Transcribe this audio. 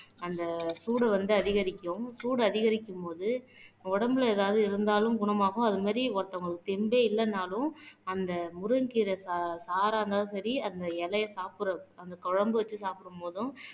அந்த சூடு வந்து அதிகரிக்கும் சூடு அதிகரிக்கும்போது உடம்புல ஏதாவது இருந்தாலும் குணமாகும் அது மாரி ஒருத்தவங்களுக்கு ஸ்ட்ரெந்தே இல்லனாலும் அந்த முருங்கைக்கீரை சா சாறா இருந்தாலும் சரி அந்த இலையை சாப்பிடுற அந்த குழம்பு வச்சு சாப்பிடு போதும்